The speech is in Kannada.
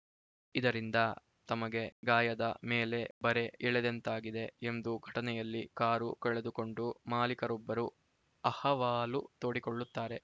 ಇದರಿಂದ ತಮಗೆ ಗಾಯದ ಮೇಲೆ ಬರೆ ಎಳೆದಂತಾಗಿದೆ ಎಂದು ಘಟನೆಯಲ್ಲಿ ಕಾರು ಕಳೆದುಕೊಂಡು ಮಾಲಿಕರೊಬ್ಬರು ಅಹವಾಲು ತೋಡಿಕೊಳ್ಳುತ್ತಾರೆ